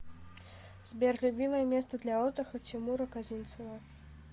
сбер любимое место для отдыха тимура козинцева